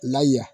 Lay